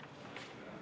Istungi lõpp kell 12.01.